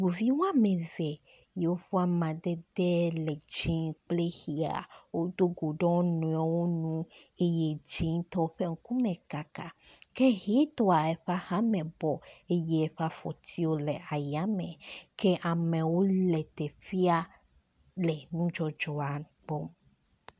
Ŋuvi wɔme eve yiwo ƒe amadede le ʋi kple dzia wo do go ɖe wo nɔewo nu eye dzitɔ ƒe ŋkume kaka ke ʋitɔ eƒe axame bɔ eye eƒe afɔtiwo le ayame ke amewo le teƒea le nudzɔdzɔa gbɔ.